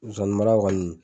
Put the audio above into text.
sonsanninmara kɔni